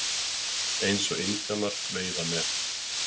Eins og indjánar veiða með.